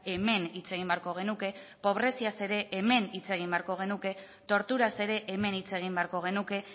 hemen hitz egin beharko genuke pobreziaz ere hemen hitz egin beharko genuke torturaz ere hemen hitz egin beharko genuke